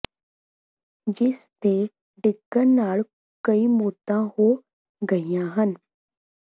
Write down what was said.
ਜਿਸ ਦੇ ਡਿੱਗਣ ਨਾਲ ਕਈ ਮੌਤਾਂ ਹੋ ਗਈਆਂ ਹਨ